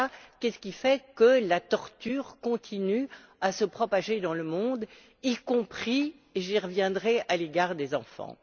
Qu'est ce qui fait que la torture continue à se propager dans le monde, y compris, j'y reviendrai, à l'égard des enfants?